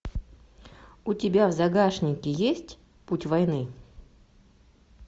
у тебя в загашнике есть путь войны